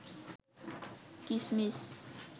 কিসমিস